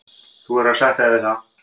Þú verður að sætta þig við það.